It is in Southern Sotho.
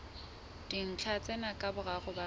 dintlha tsena ka boraro ba